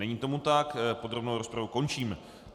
Není tomu tak, podrobnou rozpravu končím.